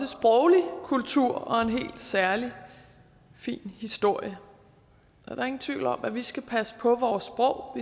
sproglig kultur og en helt særlig fin historie der er ingen tvivl om at vi skal passe på vores sprog